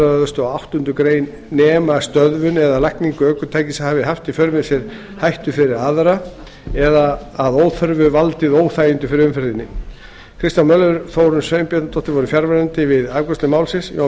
hundrað og áttundu greinar nema stöðvun eða lagning ökutækis hafi haft í för með sér hættu fyrir aðra eða að óþörfu valdið óþægindum fyrir umferðina kristján l möller og þórunn sveinbjarnardóttir voru fjarverandi við afgreiðslu málsins jón